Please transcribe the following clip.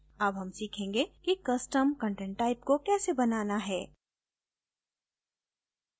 अब हम सीखेंगे कि custom content type को कैसे बनाना है